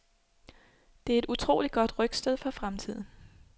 Det er et utroligt godt rygstød for fremtiden.